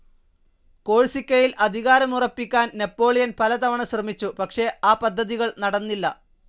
കോഴ്സിക്കയിൽ അധികാരമുറപ്പിക്കാൻ നാപ്പോളിയൻ പലതവണ ശ്രമിച്ചു പക്ഷേ ആ പദ്ധതികൾ നടന്നില്ല.